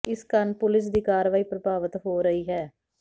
ਇਸ ਕਾਰਨ ਪੁਲੀਸ ਦੀ ਕਾਰਵਾਈ ਪ੍ਰਭਾਵਿਤ ਹੋ ਰਹੀ ਹੈ